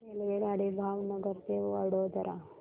रेल्वेगाडी भावनगर ते वडोदरा